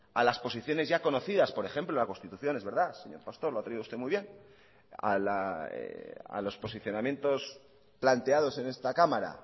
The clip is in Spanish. a las posiciones ya conocidas por ejemplo la constitución es verdad señor pastor lo ha traído usted muy bien a los posicionamientos planteados en esta cámara